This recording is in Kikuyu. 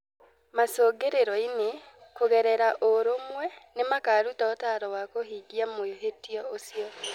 Macũngĩrĩro-inĩ, kũgerera ũrũmwe, nĩ makaaruta ũtaaro wa kũhingia mwĩhĩtwa ũcio.